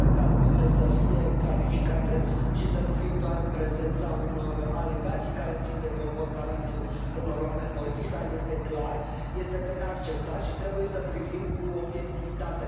Sper ca lucrurile să fie clarificate și să nu fim doar în prezența unor alegații care țin de comportamentul unor oameni politici, dar este clar este de neacceptat și trebuie să privim cu obiectivitate.